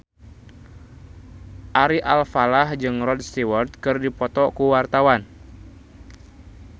Ari Alfalah jeung Rod Stewart keur dipoto ku wartawan